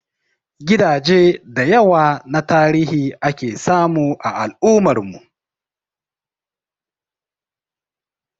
Gidaje da yawa na tarihi ake samu a al'ummar mu